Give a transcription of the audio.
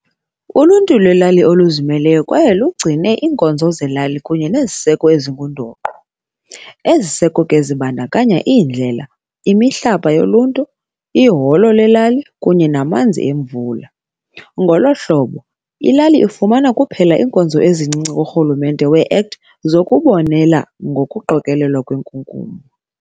Uluntu lwelali luzimeleyo kwaye lugcine iinkonzo zelali kunye neziseko ezingundoqo ezibandakanya iindlela, imihlapa yoluntu, iholo lelali, kunye namanzi emvula. Ngolo hlobo ilali ifumana kuphela iinkonzo ezincinci kuRhulumente weACT zokubonelela ngokuqokelelwa kwenkunkuma.